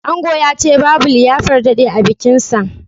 Ango yace babu liyafar dade a bikin sa